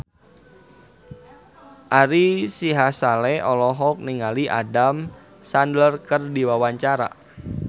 Ari Sihasale olohok ningali Adam Sandler keur diwawancara